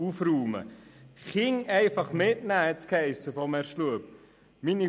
Man könnte die Kinder einfach an den Arbeitsplatz mitnehmen, hat es von Herrn Schlup geheissen.